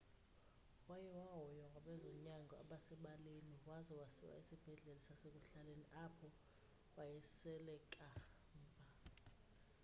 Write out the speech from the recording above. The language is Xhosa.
waye wahoywa ngabezonyango abasebaleni waza wasiwa esibhedlele sasekuhlaleni apho waye waswelekela kamva